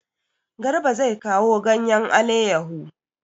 Garba zai kawo ganyen aleyahu.